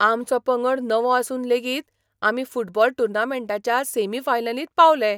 आमचो पंगड नवो आसून लेगीत आमी फुटबॉल टूर्नामेंटाच्या सॅमी फायनलींत पावले.